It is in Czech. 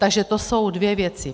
Takže to jsou dvě věci.